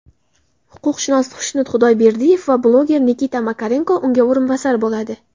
huquqshunos Xushnud Xudoyberdiyev va bloger Nikita Makarenko unga o‘rinbosar bo‘ladi;.